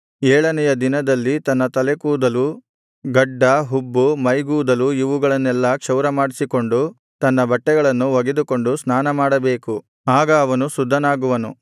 ಏಳನೆಯ ದಿನದಲ್ಲಿ ತನ್ನ ತಲೆಗೂದಲು ಗಡ್ಡ ಹುಬ್ಬು ಮೈಗೂದಲು ಇವುಗಳನ್ನೆಲ್ಲಾ ಕ್ಷೌರಮಾಡಿಸಿಕೊಂಡು ತನ್ನ ಬಟ್ಟೆಗಳನ್ನು ಒಗೆದುಕೊಂಡು ಸ್ನಾನಮಾಡಬೇಕು ಆಗ ಅವನು ಶುದ್ಧನಾಗುವನು